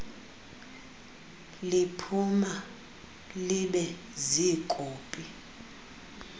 liphuma libe ziikopi